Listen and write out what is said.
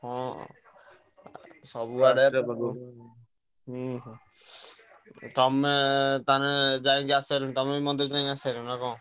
ହଁ ହଁ। ସବୁଆଡେ ହୁଁ ହୁଁ ତମେ ତାହେଲେ ଯାଇକି ଆସିସାଇଲଣି ତମେ ବି ମନ୍ଦିର ଯାଇ ଆସିସାଇଲଣି ନା କଣ?